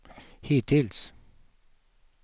hittills